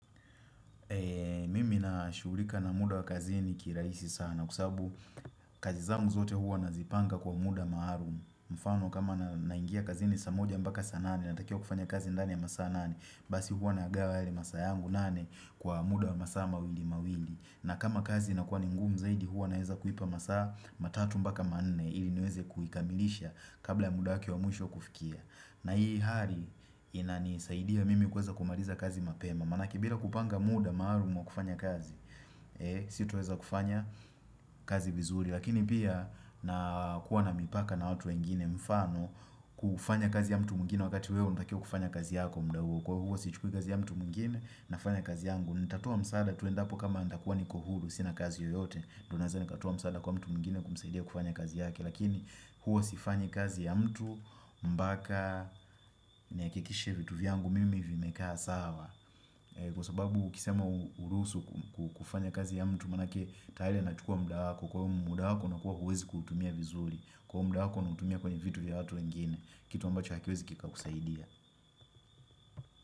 Mimi nashughulika na muda wa kazini kirajisi sana, kwa kusabu kazi zangu zote huwa nazipanga kwa muda maalum. Mfano kama na naingia kazini saa moja mpaka saa nane, natakiwa kufanya kazi ndani ya masaa nane. Basi huwa nagawa yale masaa yangu nane kwa muda wa masaa mawili mawili. Na kama kazi inakuwa ningumu zaidi huwa naweza kuipa masaa matatu mbaka maane ili niweze kuikamilisha kabla ya muda wake wa mwisho kufikia. Na hii hali inani saidia mimi kuweza kumaliza kazi mapema. Maana yake bila kupanga muda maalum kufanya kazi sitoweza kufanya kazi vizuri. Lakini pia na kuwa na mipaka na watu wengine mfano kufanya kazi ya mtu mwingine wakati wewe unatakwa kufanya kazi yako mda huo. Kwa huwa sichukui kazi ya mtu mwingine nafanya kazi yangu. Nitatoa msaada tu endapo kama nitakuwa niko huru sina kazi yoyote. Ndiyo naweza nikatoa msaada kwa mtu mwingine kumsaidia kufanya kazi yake. Lakini huwa sifanyi kazi ya mtu mpaka nihakikishe vitu vyangu mimi vimekaa sawa. Kwa sababu ukisema uruhusu kufanya kazi ya mtu maana yake tayari anachukua muda wako kwa hiyo muda wa unakua huwezi kuutumia vizuri. Kwa hiyo mda wako unautumia kwenye vitu vya watu wengine kitu ambacho hakiwezi kikakusaidia.